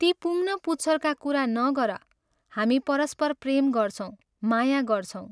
ती पुङ् न पुच्छरका कुरा नगर हामी परम्पर प्रेम गर्छौं माया गर्छौँ।